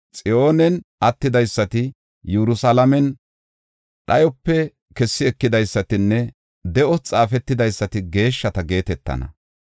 Xiyoonen attidaysati, Yerusalaamen dhayope kessi ekidaysatinne de7os xaafetidaysati geeshshata geetetana.